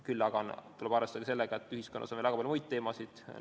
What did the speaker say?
Küll aga tuleb arvestada sellega, et ühiskonnas on ka väga palju muid teemasid.